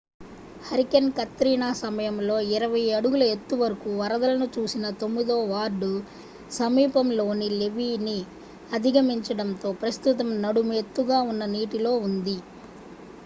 hurricane Katrina సమయంలో 20 అడుగుల ఎత్తువరకు వరదలను చూసిన తొమ్మిదో వార్డు సమీపంలోని లెవీ ని అధిగమించడంతో ప్రస్తుతం నడుము ఎత్తుగా ఉన్న నీటిలో ఉంది